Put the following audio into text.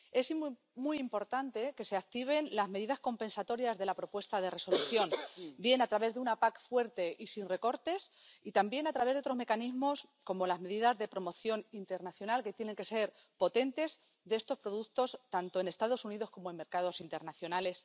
Es muy importante que se activen las medidas compensatorias de la propuesta de Resolución, bien a través de una PAC fuerte y sin recortes y también a través de otros mecanismos, como las medidas de promoción internacional de estos productos, que tienen que ser potentes, tanto en los Estados Unidos como en los mercados internacionales.